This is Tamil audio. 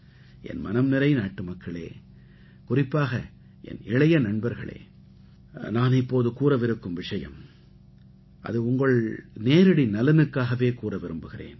என் மனம் நிறை நாட்டுமக்களே குறிப்பாக என் இளைய நண்பர்களே நான் இப்போது கூறவிருக்கும் விஷயம் அது உங்கள் நேரடி நலனுக்காகவே கூறவிருக்கிறேன்